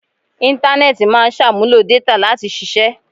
Intanẹẹti máa ń ṣàmúlò détà láti ṣiṣẹ́